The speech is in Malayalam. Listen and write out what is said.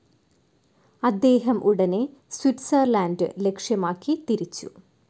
അദ്ദേഹം ഉടനെ സ്വിറ്റ്‌സർലാൻഡ് ലക്ഷ്യമാക്കി തിരിച്ചു.